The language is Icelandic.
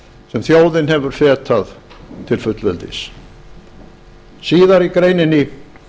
sem þjóðin hefir fetað til fullveldisins síðar í greininni